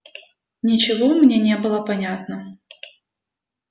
ничего мне не было понятно